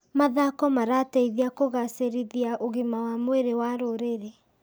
Mathako marateithia kũgacĩrithia ũgima wa mwĩrĩ wa rũrĩrĩ.